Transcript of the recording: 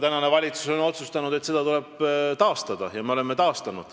Praegune valitsus on otsustanud, et see protsent tuleb taastada, ja me olemegi selle taastanud.